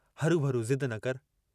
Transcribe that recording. हरूभरू जिद्द न कर।